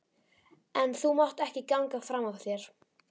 En þú mátt ekki ganga fram af þér